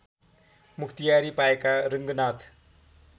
मुख्तियारी पाएका रङ्गनाथ